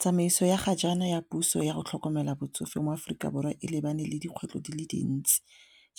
Tsamaiso ya ga jaana ya puso yago tlhokomela batsofe mo Aforika Borwa e lebane le dikgwetlho di le dintsi